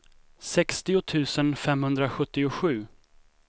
sextio tusen femhundrasjuttiosju